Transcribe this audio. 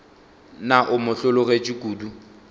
na o mo hlologetše kodu